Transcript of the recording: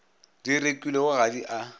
di rekilwego ga di a